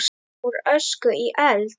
Úr ösku í eld?